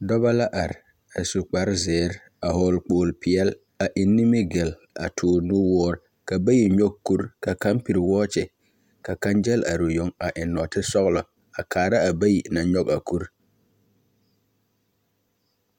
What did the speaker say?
Dɔba la are, a su kpar zeer, a hɔɔl kpool peɛl, a eŋ nimigel, a toor nuwoor, ka Bayi nyɔge kur, ka kaŋ pere wɔɔkye, ka kaŋ gel are o yoŋ, a eŋ nɔɔtesɔɔlɔ a kaara a Bayi naŋ nyɔge a kur.